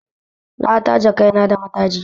Na taje kaina da mataji